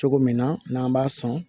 Cogo min na n'an b'a sɔn